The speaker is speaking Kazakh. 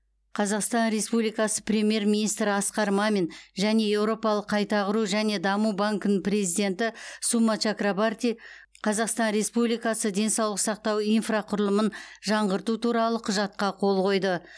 қазақстан республикасы премьер министрі асқар мамин және еуропалық қайта құру және даму банкінің президенті сума чакрабарти қазақстан республикасы денсаулық сақтау инфрақұрылымын жаңғырту туралы құжатқа қол қойды